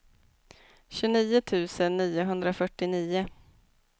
tjugonio tusen niohundrafyrtionio